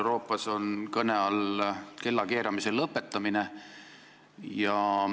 Euroopas on kõne all kellakeeramise lõpetamine.